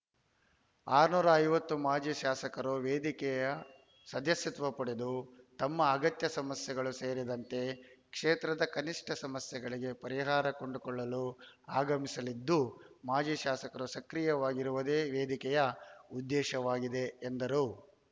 ಆರುನೂರ ಐವತ್ತು ಮಾಜಿ ಶಾಸಕರು ವೇದಿಕೆಯ ಸದಸ್ಯತ್ವ ಪಡೆದು ತಮ್ಮ ಅಗತ್ಯ ಸಮಸ್ಯೆಗಳು ಸೇರಿದಂತೆ ಕ್ಷೇತ್ರದ ಕನಿಷ್ಠ ಸಮಸ್ಯೆಗಳಿಗೆ ಪರಿಹಾರ ಕಂಡುಕೊಳ್ಳಲು ಆಗಮಿಸಲಿದ್ದು ಮಾಜಿ ಶಾಸಕರು ಸಕ್ರಿಯವಾಗಿರವುದೇ ವೇದಿಕೆಯ ಉದ್ದೇಶವಾಗಿದೆ ಎಂದರು